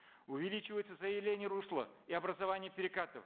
увеличивается заиление русла и образование перекатов